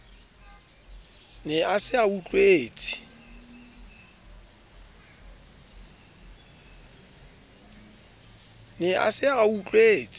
ne a se a utlwetse